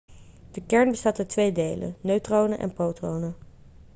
de kern bestaat uit twee delen neutronen en protonen